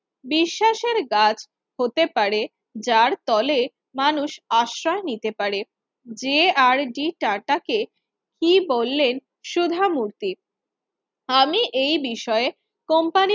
বিশ্বাসের গাছ হতে পারে যার তলে মানুষ আশ্রয় নিতে পারেযে আর ডি টাটাস কে কি বললেন সুধা মূর্তি আমি এ বিষয়ে company র